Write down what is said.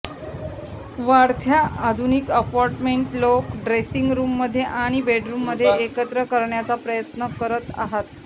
वाढत्या आधुनिक अपार्टमेंटस् लोक ड्रेसिंग रूममध्ये आणि बेडरूममध्ये एकत्र करण्याचा प्रयत्न करत आहात